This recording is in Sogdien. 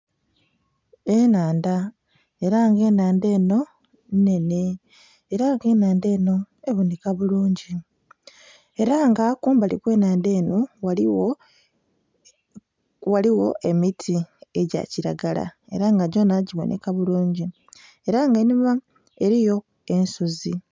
Ennhandha ela nga ennhandha eno nnhenhe era k'enhandha eno eboneka bulungi ela nga kumbali okw'ennhandha eno ghaligho emiti egya kiragala ela nga gyona giboneka bulungi ela nga enhuma eliyo ensozi.